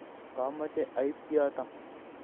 kamoche aib kiyoto.